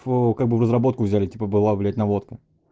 в ээ как бы в разработку взяли типа была блять наводка